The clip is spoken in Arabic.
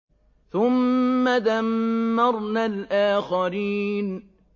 ثُمَّ دَمَّرْنَا الْآخَرِينَ